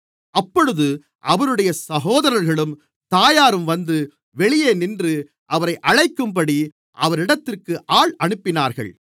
அப்பொழுது அவருடைய சகோதரர்களும் தாயாரும் வந்து வெளியே நின்று அவரை அழைக்கும்படி அவரிடத்திற்கு ஆள் அனுப்பினார்கள்